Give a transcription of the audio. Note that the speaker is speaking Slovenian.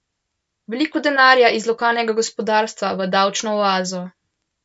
Veliko denarja iz lokalnega gospodarstva v davčno oazo!